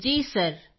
Kritika ji sir